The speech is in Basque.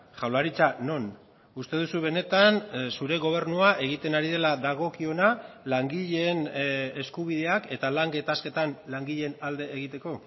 jaurlaritza non uste duzu benetan zure gobernua egiten ari dela dagokiona langileen eskubideak eta lan gatazketan langileen alde egiteko